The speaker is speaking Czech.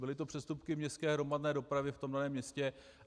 Byly to přestupky městské hromadné dopravy v tom městě.